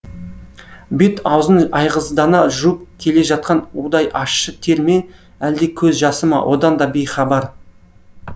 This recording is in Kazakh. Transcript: бет аузын айғыздана жуып келе жатқан удай ащы тер ме әлде көз жасы ма одан да бейхабар